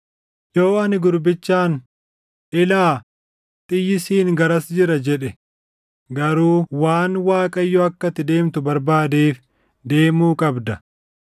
Yoo ani gurbichaan, ‘Ilaa, xiyyi siin garas jira’ jedhe garuu waan Waaqayyo akka ati deemtu barbaadeef deemuu qabda.